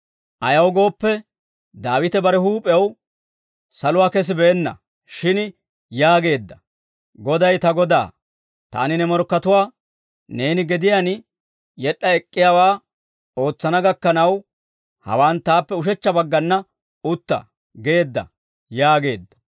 «Ayaw gooppe, Daawite bare huup'ew saluwaa kesibeenna; shin yaageedda; « ‹Goday ta Godaa; «Taani ne morkkatuwaa, neeni gediyaan yed'd'a ek'k'iyaawaa ootsana gakkanaw hawaan taappe ushechcha baggana utta» geedda› yaageedda.